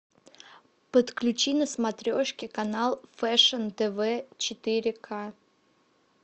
подключи на смотрешке канал фэшн тв четыре к